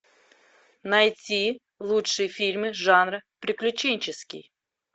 найти лучшие фильмы жанра приключенческий